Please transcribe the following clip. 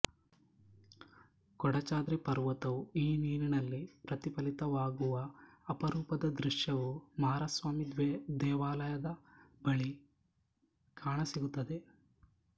ಕೊಡಚಾದ್ರಿ ಪರ್ವತವು ಈ ನೀರಿನಲ್ಲಿ ಪ್ರತಿಫಲಿತವಾಗುವ ಅಪರೂಪದ ದೃಶ್ಯವು ಮಾರಸ್ವಾಮಿ ದೇವಾಲಯದ ಬಳಿ ಕಾಣಸಿಗುತ್ತದೆ